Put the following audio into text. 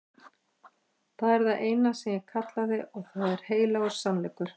Það er það eina sem ég kallaði og það er heilagur sannleikur.